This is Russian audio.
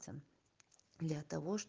для того